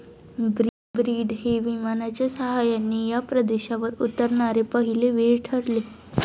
Breed हे विमानाच्या सहाय्याने या प्रदेशावर उतरणारे पहिले वीर ठरले.